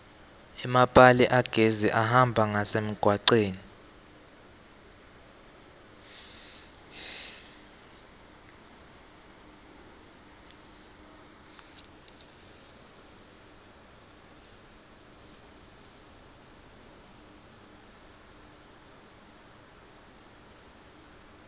emapali agesi ahamba ngasemgwaceni